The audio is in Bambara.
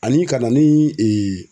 Ani ka na ni